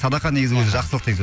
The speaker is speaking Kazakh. садақа негізі өзі жақсылық деген сөз